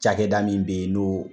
Cakɛda min bɛ ye no